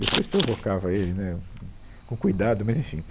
Depois provocava ele, né, hum, com cuidado, mas enfim.